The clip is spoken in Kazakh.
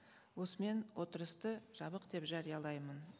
осымен отырысты жабық деп жариялаймын